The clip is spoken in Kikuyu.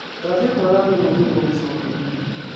Ndathie kuoya thimũ ni nĩngũgũcokeria.